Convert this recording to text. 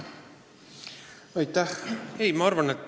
Aitäh!